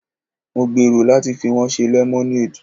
Mo gbèrò láti fi wọ́n ṣe lemonade.